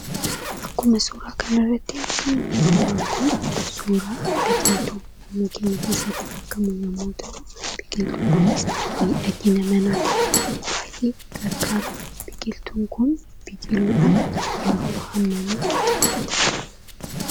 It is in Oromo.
Akkuma suuraa kanarratti argamu, suuraan kun suuraa biqiltuu mana keenya keessatti argamu yommuu ta'u, biqiltuun kunis miidhagina manaaf baayyee gargaara. Biqiltuun kun biqiluudhaaf hammam itti fudhata?